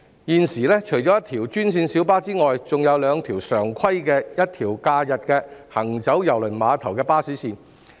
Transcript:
現時除一條專線小巴外，還有兩條常規及一條假日行走郵輪碼頭的巴士線。